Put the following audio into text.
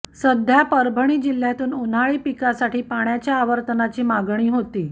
सध्या परभणी जिल्ह्यातून उन्हाळी पिकासाठी पाण्याचा आवर्तनाची मागणी होती